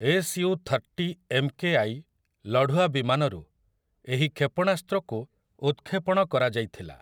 S U thirty M K I' ଲଢୁଆ ବିମାନରୁ ଏହି କ୍ଷେପଣାସ୍ତ୍ରକୁ ଉତ୍‌କ୍ଷେପଣ କରାଯାଇଥିଲା ।